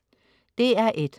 DR1: